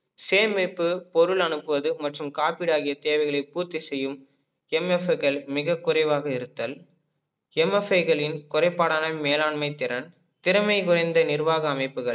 சேமிப்பு பொருள் அனுப்புவது மற்றும் காப்பீடு ஆகிய தேவைகளை பூர்த்தி செய்யும் MFI கள் மிக குறைவாக இருத்தல் MFI களின் குறைப்பாடான மேலாண்மை திறன் திறமை புரிந்த நிர்வாக அமைப்புகள்